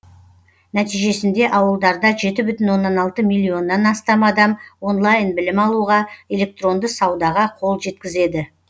нәтижесінде ауылдарда жеті бүтін оннан алты миллионнан астам адам онлайн білім алуға электронды саудаға қол жеткізеді